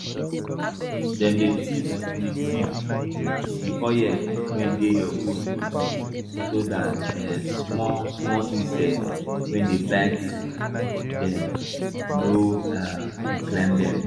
dem dey thief di thief di oil wey de dey your goat body so dat um small small insect wey dey bite dem no um fit climb dem